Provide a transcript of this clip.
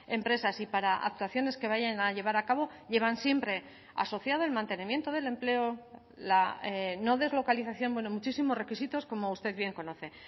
empresas y para actuaciones que vayan a llevar a cabo llevan siempre asociado el mantenimiento del empleo la no deslocalización bueno muchísimos requisitos como usted bien conoce